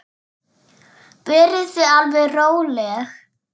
Verið þið alveg róleg.